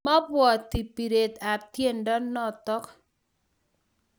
Maabwoti biret ab tiendo notok